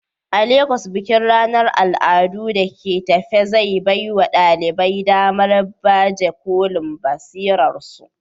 A Legas, bikin ranar al'adu da ke tafe zai baiwa ɗalibai damar baje kolin basirarsu.